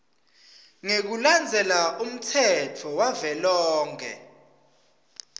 ngekulandzela umtsetfo wavelonkhe